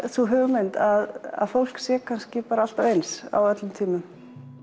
sú hugmynd að fólk sé kannski bara alltaf eins á öllum tímum